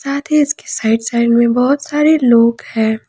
इसके side side में बहोत सारे लोग हैं।